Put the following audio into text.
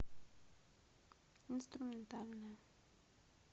инструментальная